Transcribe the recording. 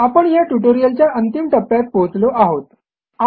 आपण ह्या ट्युटोरियलच्या अंतिम टप्प्यात पोहोचलो आहोत